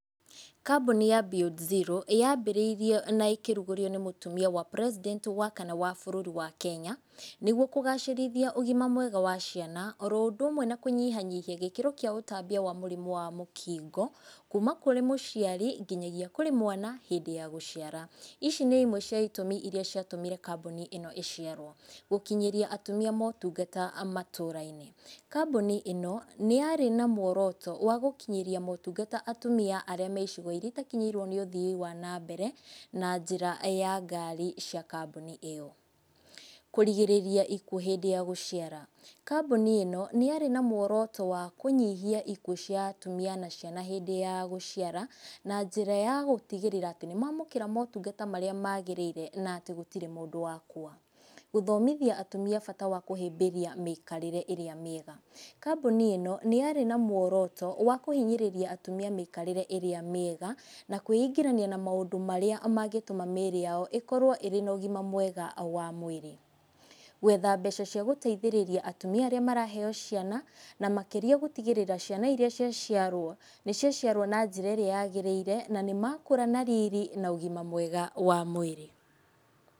Kambuni ya Beyond Zero yambĩrĩirio na ĩkĩrugũrio nĩ mũtumia wa president wa kana wa bũrũri wa Kenya, nĩguo kũgacĩrithia ũgima mwega wa ciana, oro ũndũ ũmwe na kũnyihanyihia gĩkĩro kĩa ũtambia wa mũrimũ wa mũkingo, kuma kũrĩ mũciari, nginyagia kũrĩ mwana, hĩndĩ ya gũciara, ĩci nĩ imwe cia itũmi iria ciatũmire kambuni ĩno ĩciarwo, gũkinyaria atumia motungata matũra-inĩ, kambuni ĩno nĩ yarĩ na muoroto wa gũkinyĩria motungata atumia arĩa me icigo iria itakinyĩirwo nĩ ũthiĩ wa na mbere, na njĩra ya ngari cia kambuni ĩyo. Kũrigĩrĩria ikuũ hĩndĩ ya gũciara, kambuni ĩno nĩyarĩ na mũoroto wa kũnyihia ikuũ cia atumia na ciana hĩndĩ ya gũciara, na njĩra ya gũtigĩrĩra atĩ nĩ mamũkĩra motungata marĩa magĩrĩire, natĩ gũtirĩ mũndũ wakua. Guthomithia atumia bata wakũhĩmbĩria mĩikarĩre ĩrĩa mĩega, kambuni ĩno nĩ yarĩ na muoroto wa kũhinyĩrĩria atumia mĩikarĩre ĩrĩa mĩega, na kũingĩrania na maũndũ marĩa mangĩtũma mĩrĩ yao ĩkorwo ĩna ũgima mwega wa mwĩrĩ, gwetha mbeca cia gũteithĩrĩria atumia arĩa maraheyo ciana, na makĩria gũtigrĩra ciana iria ciaciarwo, nĩ ciaciarwo na njĩra ĩrĩa yagĩrĩire, na nĩ makũra na riri na ũgima mwega wa mwĩrĩ.